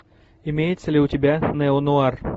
имеется ли у тебя нео нуар